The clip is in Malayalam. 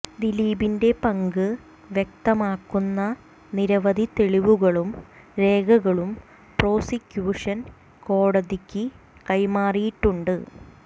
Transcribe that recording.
ദിലീപിന്റെ പങ്ക് വ്യക്തമാക്കുന്ന നിരവധി തെളിവുകളും രേഖകളും പ്രോസിക്യൂഷൻ കോടതിക്ക് കൈമാറിയിട്ടുണ്ട്